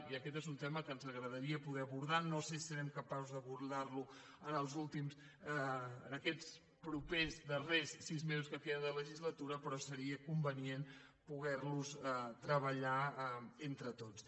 i aquest és un tema que ens agradaria poder abordar no sé si serem capaços d’abordar·lo en aquests propers darrers sis mesos que queden de legislatura però seria convenient poder·los treballar entre tots